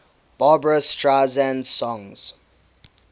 barbra streisand songs